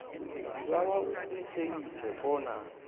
sibawa uqinisekise bona